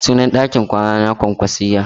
Sunan ɗakin kwana na kwankwasiyya.